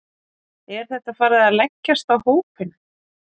Er þetta farið að leggjast á hópinn?